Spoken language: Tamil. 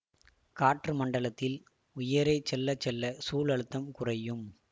காற்று மண்டலத்தில் உயரே செல்ல செல்ல சூழ் அழுத்தம் குறையும்